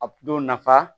A bulu nafa